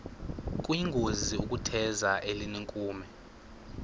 kuyingozi ukutheza elinenkume